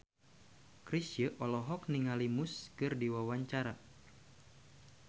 Chrisye olohok ningali Muse keur diwawancara